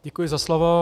Děkuji za slovo.